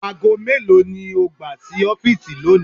Aago melo ni o gba si ọfiisi loni?